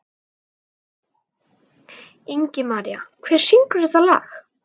Ingimaría, hver syngur þetta lag?